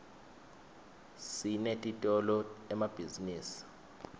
sinetitolo emabhizinisini